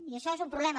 i això és un problema